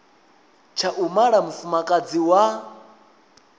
tsha u mala mufumakadzi wa